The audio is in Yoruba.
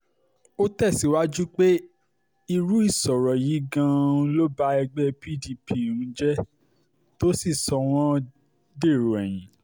ó tẹ̀síwájú pé irú ìṣòro yìí gan-an ló ba ẹgbẹ́ pdp um jẹ́ tó sì sọ wọ́n dèrò ẹ̀yìn